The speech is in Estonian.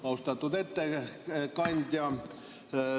Austatud ettekandja!